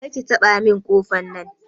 Kar ki taɓa kofin nan!